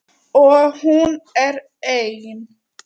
Og hún er ein.